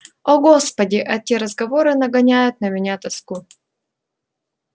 о господи эти разговоры нагоняют на меня тоску